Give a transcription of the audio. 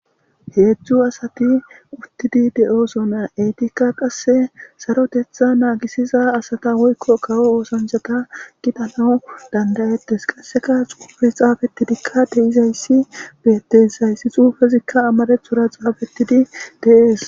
Hedzu asati utidi de'osona etika qase saroteta nagisiza asata woyko kawo osanchata gidanaw danda'etes qaseka xufey xafetidika de'izaysi betes ha xufezika amaratora xafetidi de'es.